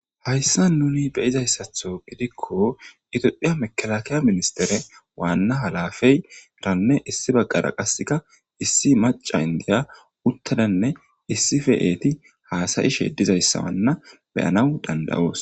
hayssa nuni beyizayssatho gidikko itophiya mekalakiya ministere waanna halafeyranne issi baggara qaseka issi maca indiya uttadanne issife eeti haasayi sheedizayssawanna beyanaw danda7oos